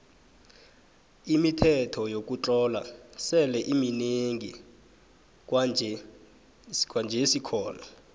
imithetho yokutlola sele iminengi kwanjesikhona